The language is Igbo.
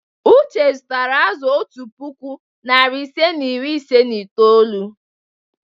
Uche zụtara azụ̀ otu puku, narị ise na iri ise na itoolu.